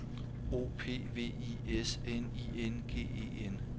O P V I S N I N G E N